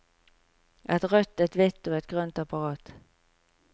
Et rødt, et hvit og et grønt apparat.